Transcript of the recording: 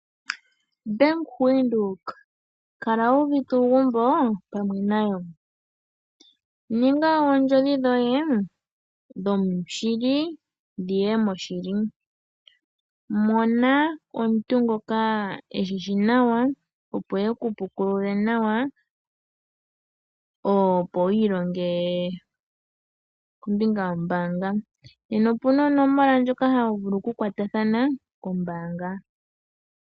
Bank Windhoek kala wu uvite uugumbo pamwe nayo, ninga oondjodhi dhoye dhoshili dhiye moshili, mona omuntu ngoka eshishi nawa, opo eku pukulule nawa, opo wiilonge kombinga yombaanga. Opuna onomola ndjoka haya vulu oku kwatathana kombaanga.